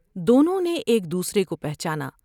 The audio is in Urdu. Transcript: دونوں نے ایک دوسرے کو پہچانا ۔